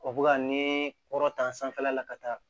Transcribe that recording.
O bɛ ka ne kɔrɔ ta sanfɛla la ka taa